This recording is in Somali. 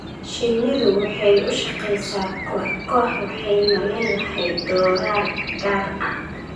Shinnidu waxay u shaqeysaa koox koox waxayna leedahay doorar gaar ah.